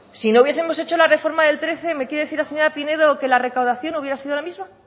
si no hubiesemos hecho la reforma del trece me quiere decir la señora pinedo que la recaudación hubiera sido la misma